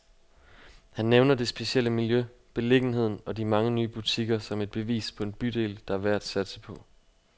Han nævner det specielle miljø, beliggenheden og de mange nye butikker, som et bevis på en bydel, der er værd at satse på.